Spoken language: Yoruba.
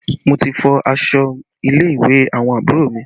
Mo ti fọ aṣọ ilé ìwé àwọn àbúrò mi